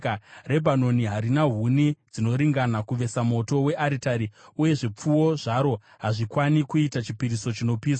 Rebhanoni harina huni dzinoringana kuvesa moto wearitari, uye zvipfuwo zvaro hazvikwani kuita chipiriso chinopiswa.